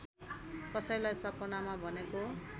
कसैलाई सपनामा भनेको